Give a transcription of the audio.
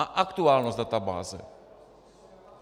A aktuálnost databáze.